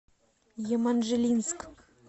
еманжелинск